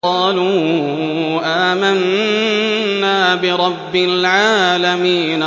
قَالُوا آمَنَّا بِرَبِّ الْعَالَمِينَ